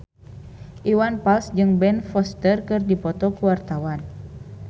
Iwan Fals jeung Ben Foster keur dipoto ku wartawan